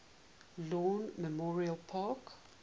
lawn memorial park